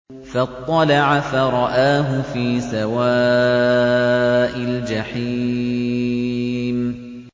فَاطَّلَعَ فَرَآهُ فِي سَوَاءِ الْجَحِيمِ